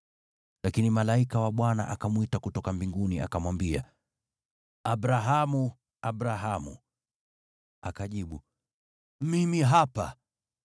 Lakini malaika wa Bwana akamwita kutoka mbinguni, akamwambia, “Abrahamu! Abrahamu!” Akajibu, “Mimi hapa.”